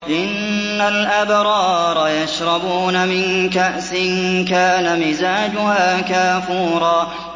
إِنَّ الْأَبْرَارَ يَشْرَبُونَ مِن كَأْسٍ كَانَ مِزَاجُهَا كَافُورًا